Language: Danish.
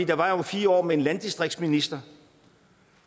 der var jo fire år med en landdistriktsminister